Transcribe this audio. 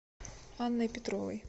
анной петровой